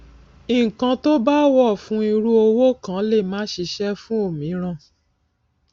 ǹkan tó bá wọ fún irú òwò kan lè má ṣíṣe fún òmíràn